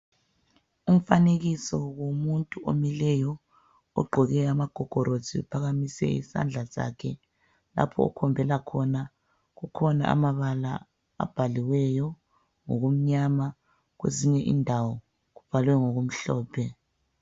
umfanekiso womuntu omileyo ugqoke amagogolosi uphakamisile isandla sakhe lapho akhombela khona kubhaliwe ngamabala amnyama kwezinye indawo kubhalwe ngokumhlophe.